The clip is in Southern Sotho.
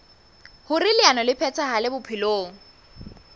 hoer leano le phethahale bophelong